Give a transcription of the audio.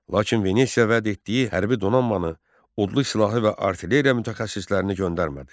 Lakin Venesiya vəd etdiyi hərbi donanmanı, odlu silahı və artilleriya mütəxəssislərini göndərmədi.